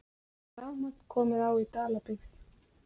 Rafmagn komið á í Dalabyggð